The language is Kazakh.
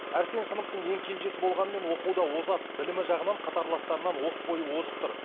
әрсен сыныптың ең кенжесі болғанымен оқуда озат білімі жағынан қатарластарынан оқ бойы озық тұр